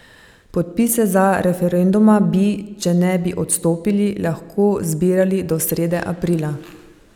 Podpise za referenduma bi, če ne bi odstopili, lahko zbirali do srede aprila.